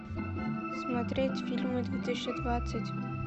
смотреть фильмы две тысячи двадцать